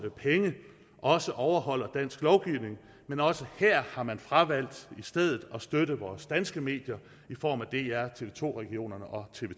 penge også overholder dansk lovgivning men også her har man fravalgt i stedet at støtte vores danske medier i form af dr tv to regionerne og tv